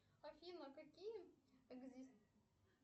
афина какие